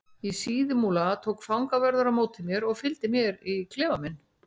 Í Síðumúla tók fangavörður á móti mér og fylgdi mér í klefa minn.